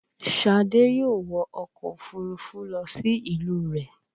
Ṣadé yóò wọ ọkọ̀ òfúrufú lọ sí ìlú rẹ̀